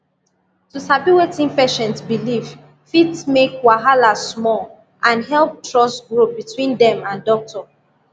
to sabi wetin patient believe fit make wahala small and help trust grow between dem and doctor